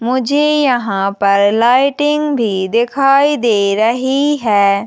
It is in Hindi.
मुझे यहाँ पर लाइटिंग भी दिखाई दे रही हैं।